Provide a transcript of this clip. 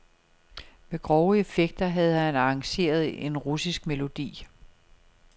Med grove effekter havde han arrangeret en russisk melodi.